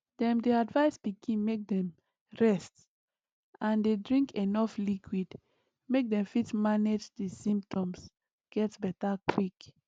dem dey advise pikin make dem rest and dey drink enuf liquid make dem fit manage di symptoms get beta quick